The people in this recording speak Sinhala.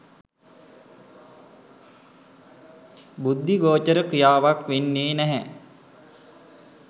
බුද්ධි ගෝචර ක්‍රියාවක් වෙන්නේ නැහැ.